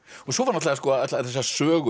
svo allar þessar sögur um